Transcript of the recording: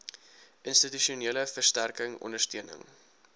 institusionele versterking ondersteuning